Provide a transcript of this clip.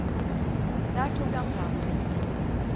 Där tog han fram sin kniv.